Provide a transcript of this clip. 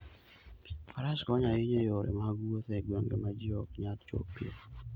Faras konyo ahinya e yore mag wuoth e gwenge ma ji ok nyal chopoe.